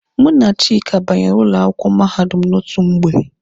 Mụ na Chika banyere ụlọ akwụkwọ mahadum n'otu mgbe.